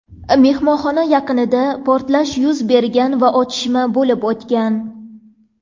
Mehmonxona yaqinida portlash yuz bergan va otishma bo‘lib o‘tgan.